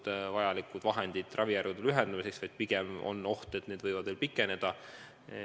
See ei taga vajalikke vahendeid ravijärjekordade lühendamiseks, pigem on oht, et need võivad veel pikeneda.